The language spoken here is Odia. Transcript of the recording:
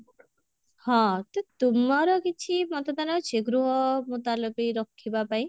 ହଁ ତ ତୁମର କିଛି ମତଦାନ ଅଛି ଗୃହ ମୁତଲବୀ ରଖିବା ପାଇଁ?